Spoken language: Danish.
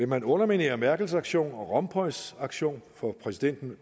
man underminere merkels aktion og rompuys aktion for eu præsidenten